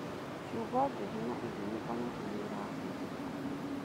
ciugo njũru na irumi onacio nĩirahũthĩka.